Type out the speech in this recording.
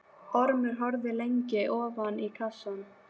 Ormur horfði lengi ofan í kassann.